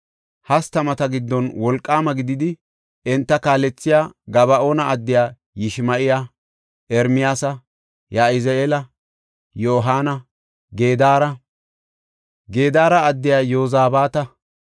hastamata giddon wolqaama gididi, enta kaalethiya Gaba7oona addiya Yishima7iya, Ermiyaasa, Yahazi7eela, Yohaana, Gedaara addiya Yozabaata,